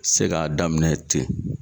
Se g'a daminɛ ten